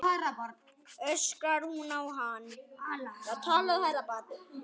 öskrar hún á hann.